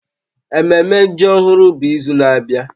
Ememme ji ọhụrụ bụ izu na-abịa